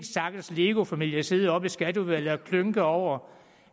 stakkels lego familie sidde oppe i skatteudvalget og klynke over